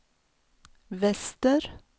väster